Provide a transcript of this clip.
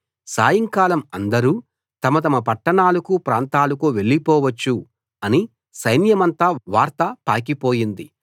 సాయంకాలం అందరూ తమ తమ పట్టణాలకూ ప్రాంతాలకూ వెళ్లిపోవచ్చు అని సైన్యమంతా వార్త పాకిపోయింది